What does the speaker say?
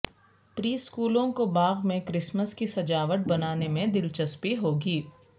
پری اسکولوں کو باغ میں کرسمس کی سجاوٹ بنانے میں دلچسپی ہوگی